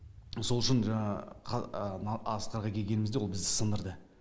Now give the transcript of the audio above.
сол үшін жаңағы асқарға келгенімізде ол бізді сындырды